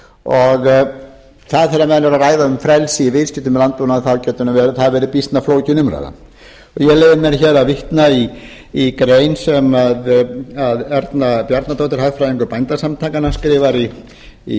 og það er þegar menn eru að ræða um frelsi í viðskiptum með landbúnað þá getur það nú verið býsna flókin umræða ég leyfi mér hér að vitna í grein sem erna bjarnadóttir hagfræðingur bændasamtakanna skrifar í